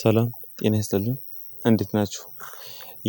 ሰላም ጤና ይስጥልን እንዴት ናቸው?